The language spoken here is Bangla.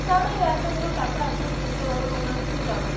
ওনারা এই এতো গুলো টাকা afford করতে পারবে না ওনারা তো যাবেই